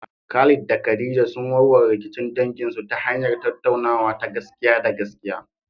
Khalid da Khadija sun warware rikicin danginsu ta hanyar tattaunawa ta gaskiya da gaskiya.